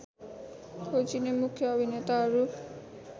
खोजिने मुख्य अभिनेताहरू